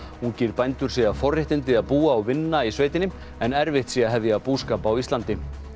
ungir bændur segja forréttindi að búa og vinna í sveitinni en erfitt sé að hefja búskap á Íslandi